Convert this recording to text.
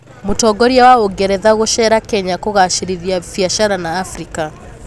Mũtongoria wa ũngeretha gũceera Kenya kũgacirithia biacara na Afrika